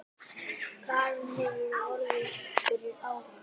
Karen: Hefurðu orðið fyrir árás?